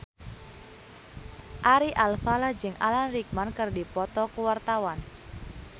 Ari Alfalah jeung Alan Rickman keur dipoto ku wartawan